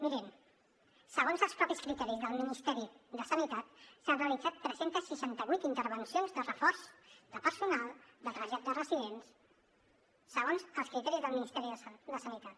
mirin segons els mateixos criteris del ministeri de sanitat s’han realitzat tres cents i seixanta vuit intervencions de reforç de personal de trasllat de residents segons els criteris del ministeri de sanitat